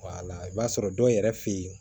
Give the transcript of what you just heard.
i b'a sɔrɔ dɔw yɛrɛ fe ye